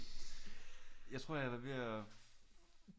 Jeg tror jeg var ved at